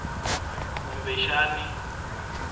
kumbexani